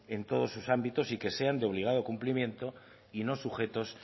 en todos sus ámbitos y que sean de obligado cumplimiento y no sujetos